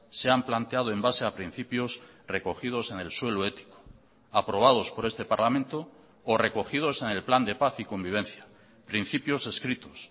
se han planteado en base a principios recogidos en el suelo ético aprobados por este parlamento o recogidos en el plan de paz y convivencia principios escritos